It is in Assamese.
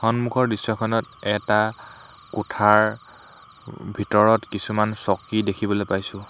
সন্মুখৰ দৃশ্য খনত এটা কোঠাৰ ভিতৰত কিছুমান চকী দেখিবলৈ পাইছোঁ।